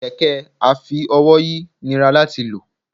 kẹkẹ afi-ówòyi nirá latí lọ